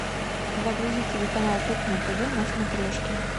загрузи телеканал кухня тв на смотрешке